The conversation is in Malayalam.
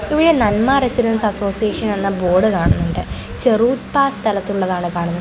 ഇവിടെ നന്മാ റസിഡൻസ് അസോസിയേഷൻ എന്ന ബോർഡ് കാണുന്നുണ്ട് ചെറുത്താ സ്ഥലത്തുള്ളതാണ് കാണുന്നത്.